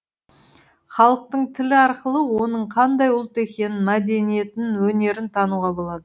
халықтың тілі арқылы оның қандай ұлт екенін мәдениетін өнерін тануға болады